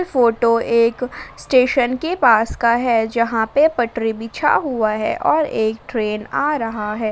Photo एक station के पास का है जहां पे पटरी बिछा हुआ है और एक ट्रेन आ रहा हैं।